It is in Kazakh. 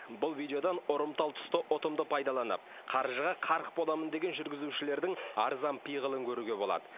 бұл видеодан ұрымтал тұсты ұтымды пайдаланып қаржыға қарық боламын деген жүргізушілердің арзан пиғылын көруге болады